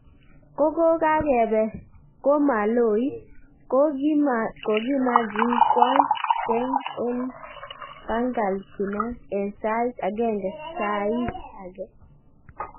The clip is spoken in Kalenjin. ko kokakepe komaloit, kokokimagin kwang kweng en pangkal pinag en sait agenge sai age.